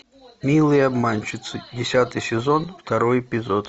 милые обманщицы десятый сезон второй эпизод